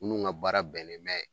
Munnu ŋa baara bɛnnen bɛ